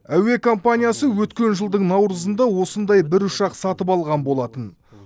әуе компаниясы өткен жылдың наурызында осындай бір ұшақ сатып алған болатын